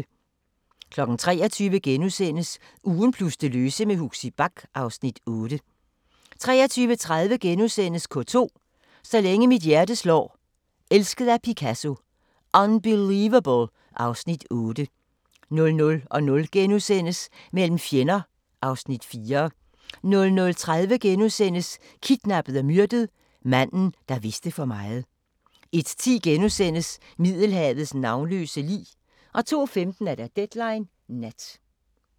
23:00: Ugen plus det løse med Huxi Bach (Afs. 8)* 23:30: K2 – Så længe mit hjerte slår, Elsket af Picasso, Unbelievable (Afs. 8)* 00:00: Mellem fjender (Afs. 4)* 00:30: Kidnappet og myrdet: Manden, der vidste for meget * 01:10: Middelhavets navnløse lig * 02:15: Deadline Nat